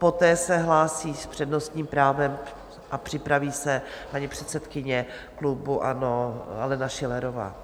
Poté se hlásí s přednostním právem a připraví se paní předsedkyně klubu ANO Alena Schillerová.